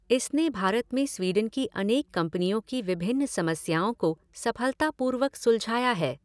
इसने भारत में स्वीडन की अनेक कंपनियों की विभिन्न समस्याओं को सफलतापूर्वक सुलझाया है।